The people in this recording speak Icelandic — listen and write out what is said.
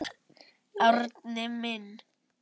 Árni minn.